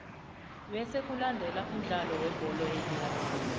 bese kulandele umdlalo webholo yenyawo